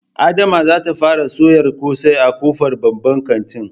Adama zata fara soyar ƙosai a ƙofar babban kantin